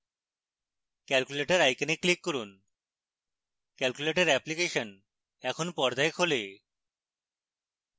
calculator icon click করুন calculator application এখন পর্দায় খোলে